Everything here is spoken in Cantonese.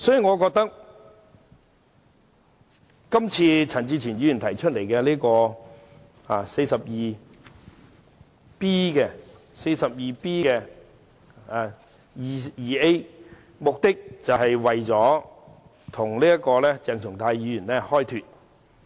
我覺得陳志全議員根據《議事規則》第 49B 條提出的議案，目的是為鄭松泰議員開脫。